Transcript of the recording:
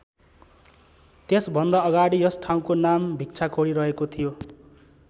त्यसभन्दा अगाडि यस ठाउँको नाम भिक्षाखोरी रहेको थियो।